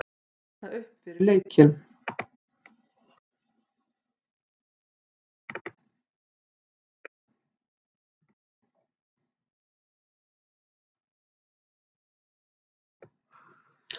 Hita upp fyrir leikinn?